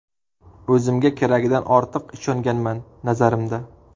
O‘zimga keragidan ortiq ishonganman, nazarimda”.